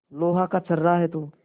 लोहा का छर्रा है तू